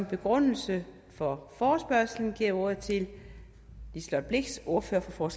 begrundelse for forespørgslen jeg ordet til liselott blixt ordfører for